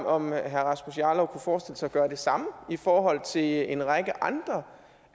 om herre rasmus jarlov kunne forestille sig at gøre det samme i forhold til en række andre